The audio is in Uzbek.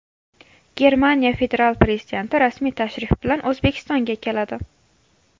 Germaniya federal prezidenti rasmiy tashrif bilan O‘zbekistonga keladi.